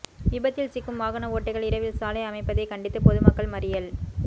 விபத்தில் சிக்கும் வாகன ஓட்டிகள் இரவில் சாலை அமைப்பதை கண்டித்து பொதுமக்கள் மறியல்